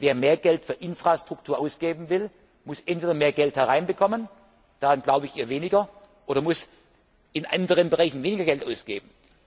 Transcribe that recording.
reden. Wer mehr Geld für Infrastruktur ausgeben will, muss entweder mehr Geld hereinbekommen daran glaube ich eher weniger oder er muss in anderen Bereichen weniger Geld ausgeben.